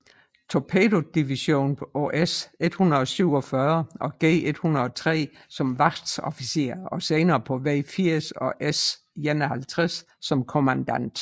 Torpedovision på S 147 og G 103 som Wachoffizier og senere på V 80 og S 51 som kommandant